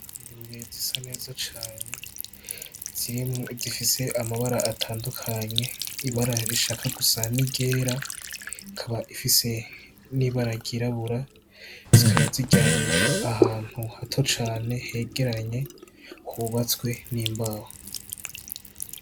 Ingurube zisa neza cane zirimwo izifise amabara atandukanye ibara rishaka gusa n'iryera ikaba ifise n'ibara ry'irabura. Zikaba ziryamye ahantu hato cane hegeranye hubatswe n'imbaho.